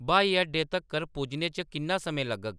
ब्हाई अड्डे तक्कर पुज्जने च किन्ना समां लग्गग